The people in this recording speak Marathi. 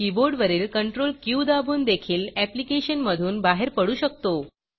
कीबोर्डवरील Ctrl क्यू दाबून देखील ऍप्लिकेशन मधून बाहेर पडू शकतो